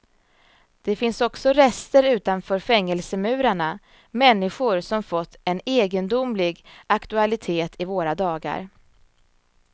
Det finns också rester utanför fängelsemurarna, människor som fått en egendomlig aktualitet i våra dagar.